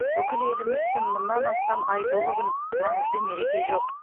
бүкіл еліміз үшін мұнан асқан айтулы күн маңызды мереке жоқ